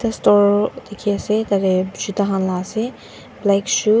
eta store dikhiase tatae juta khan laase black shoe .